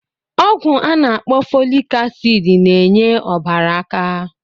Ọgwụ a na-akpọ fọlik asịd n'enye ọbara aka.